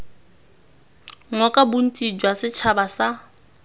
ngoka bontsi jwa setšhaba sa